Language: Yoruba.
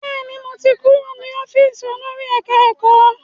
Bẹ́ẹ̀ni, mo ti kúrò ní ọ́fíìsì olórí ẹ̀ká-ẹ̀kọ́